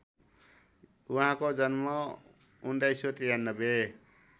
उहाँको जन्म १९९३